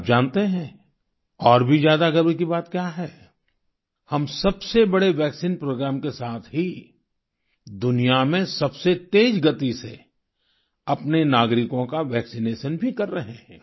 आप जानते हैं और भी ज्यादा गर्व की बात क्या है हम सबसे बड़े वैक्सीन प्रोग्राम के साथ ही दुनिया में सबसे तेज गति से अपने नागरिकों का वैक्सिनेशन भी कर रहे हैं